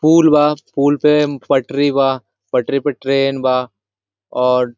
पुल बा पुल पे पटरी बा पटरी पे ट्रेन बा और--